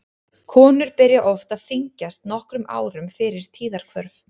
Konur byrja oft að þyngjast nokkrum árum fyrir tíðahvörf.